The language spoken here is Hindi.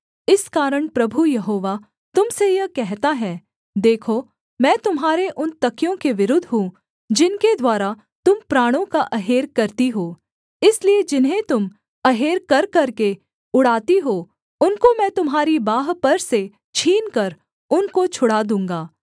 इस कारण प्रभु यहोवा तुम से यह कहता है देखो मैं तुम्हारे उन तकियों के विरुद्ध हूँ जिनके द्वारा तुम प्राणों का अहेर करती हो इसलिए जिन्हें तुम अहेर कर करके उड़ाती हो उनको मैं तुम्हारी बाँह पर से छीनकर उनको छुड़ा दूँगा